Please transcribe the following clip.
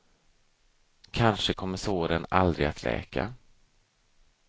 Kanske kommer såren aldrig att läka.